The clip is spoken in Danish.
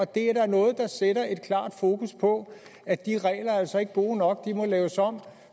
det er da noget der sætter et klart fokus på at de regler altså ikke er gode nok og må laves om